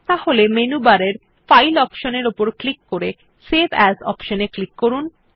তাহলে মেনু বারের file option এ ক্লিক করে সেভ এএস অপশন এ ক্লিক করুন